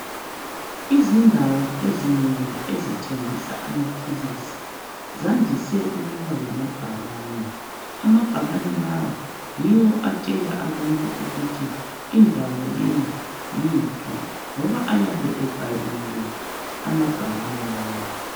Izindawo ezinengi ezithengisa amaphilisi zandise ukuba lamabhakane. Amabhakane lawa yiwo atshela abantu ukuthi indawo le yiphi. Ngoba ayabe ebhaliwe amabhakane lawa.